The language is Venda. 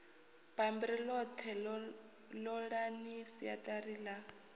bammbiri ḽoṱhe ṱolani siaṱari ḽa